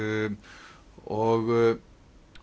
og